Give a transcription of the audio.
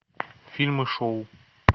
фильмы шоу